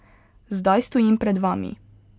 Zdaj stojim pred vami.